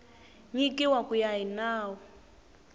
nyikiwa ku ya hi nawu